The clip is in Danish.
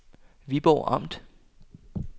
Viborg Amt